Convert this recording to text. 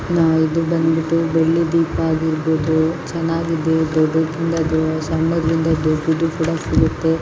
ನಾವು ಇದು ಬಂದ್ಬಿಟ್ಟು ಬೆಳ್ಳಿ ದೀಪ ಹಾಗಿರಬಹುದು ಚೆನ್ನಾಗಿದೆ ದೊಡ್ದುದ್ರಿಂದ ಸಣ್ಣದ್ರಿಂದ ದೊಡ್ಡದು ಸಿಗುತ್ತೆ .